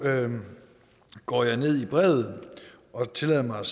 går jeg ned i brevet og tillader mig